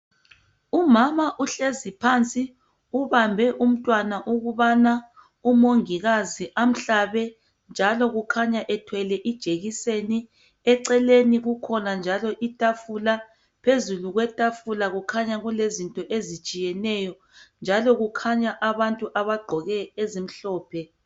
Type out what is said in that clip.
Umama uhlezi phansi, ubambe umntwana, ukubana umongikazi amhlabe, njalo kukhanya ethwele ijekiseni. Eceleni kukhona njalo itafula. Phezu kwetafula kukhanya kulezinto ezitshiyeneyo, njalo kukhanya abantu abagqoke ezimhlophe.